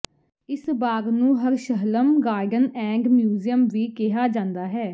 ਇਸ ਬਾਗ ਨੂੰ ਹਰਸ਼ਹਲਮ ਗਾਰਡਨ ਐਂਡ ਮਿਊਜ਼ੀਅਮ ਵੀ ਕਿਹਾ ਜਾਂਦਾ ਹੈ